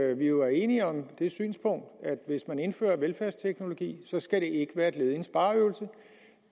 at vi jo er enige om det synspunkt at hvis man indfører velfærdsteknologi skal det ikke være et led i en spareøvelse